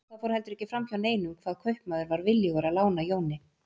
Og það fór heldur ekki fram hjá neinum hvað kaupmaður var viljugur að lána Jóni.